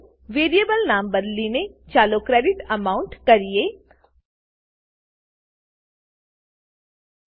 variable નામ બદલીને ચાલો ક્રેડિટ એમાઉન્ટ ક્રેડીટ એમાઉન્ટ કરીએ